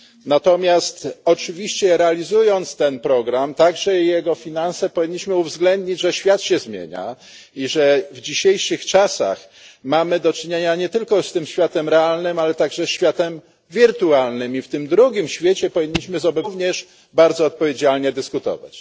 Natomiast oczywiście realizując ten program, także jego finanse, powinniśmy uwzględnić, że świat się zmienia i że w dzisiejszych czasach mamy do czynienia nie tylko z tym światem realnym, ale także światem wirtualnym i w tym drugim świecie powinniśmy z obywatelami również bardzo odpowiedzialnie dyskutować.